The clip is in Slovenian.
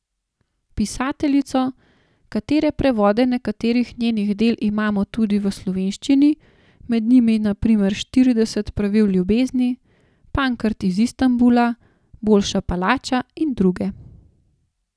Pisateljico, katere prevode nekaterih njenih del imamo tudi v slovenščini, med njimi na primer Štirideset pravil ljubezni, Pankrt iz Istanbula, Boljša palača in druge.